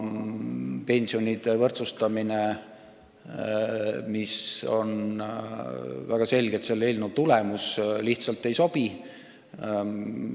Pensionide võrdsustamine, mis on väga selgelt selle eelnõu tulemus, lihtsalt ei sobi.